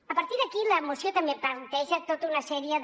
a partir d’aquí la moció també planteja tota una sèrie de